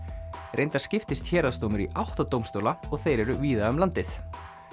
reyndar skiptist héraðsdómur í átta dómstóla og þeir eru víða um landið